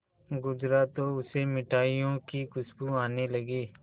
गुजरा तो उसे मिठाइयों की खुशबू आने लगी